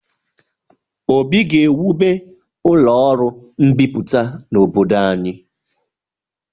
Obi ga-ewube ụlọ ọrụ mbipụta n'obdod anyị.